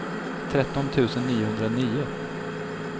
tretton tusen niohundranio